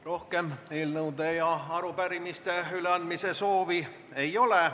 Rohkem eelnõude ja arupärimiste üleandmise soovi ei ole.